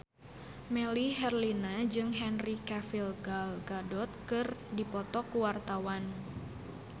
Melly Herlina jeung Henry Cavill Gal Gadot keur dipoto ku wartawan